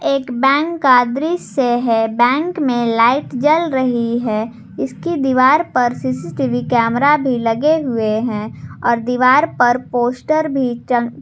एक बैंक का दृश्य है बैंक में लाइट जल रही है इसकी दीवार पर सी_सी_टी_वी कैमरा भी लगे हुए हैं और दीवार पर पोस्टर भी चम--